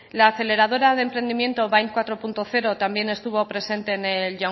la aceleradora de emprendimiento bind cuatro punto cero también estuvo presente en el